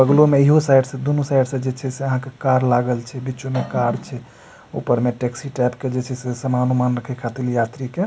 बगलो में इहो साइड से दूनो साइड से जे छै कार लागल छै बीचो में कार छै ऊपर मे टैक्सी टाइप के जैसे समान उमान राखे ले यात्री के --